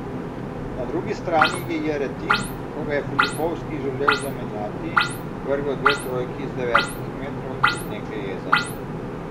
Na drugi strani je Jeretin, ko ga je Filipovski želel zamenjati, vrgel dve trojki iz devetih metrov iz neke jeze.